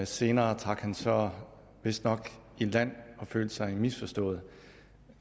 senere trak han så vistnok i land og følte sig misforstået